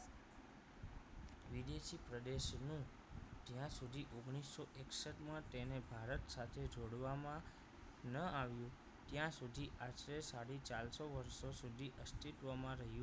પ્રદેશનું જ્યાં સુધી ઓગણીસો એકસઠ માં તેને ભારત સાથે જોડવામાં ન આવ્યું ત્યાં સુધી આશરે સાડી ચારસો વર્ષો સુધી અસ્તિત્વમાં રહ્યું